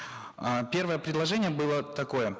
э первое предложение было такое